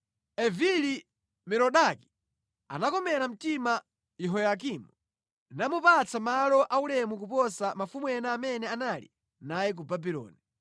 Evili-Merodaki anakomera mtima Yehoyakini, namupatsa malo aulemu kuposa mafumu ena amene anali naye ku Babuloni.